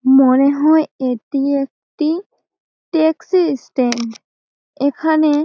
মনে হয় এটি একটি টেক্সি-ই স্ট্যান্ড এখানে--